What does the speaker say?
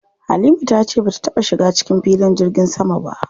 Halima ta ce bata taɓa shiga cikin filin jirgin sama ba.